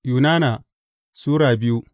Yunana Sura biyu